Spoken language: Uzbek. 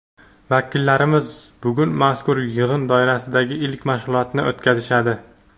vakillarimiz bugun mazkur yig‘in doirasidagi ilk mashg‘ulotni o‘tkazishadi.